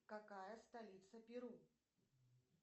какая столица перу